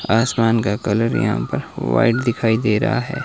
आसमान का कलर यहां पर वाइट दिखाई दे रहा है।